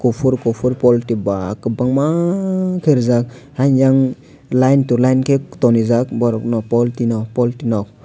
kuphur kuphur poultry ba kwbangma khe rijak haino yang line to line khe tonijak borokno poltry no poltry no.